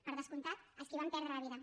per descomptat els qui van perdre la vida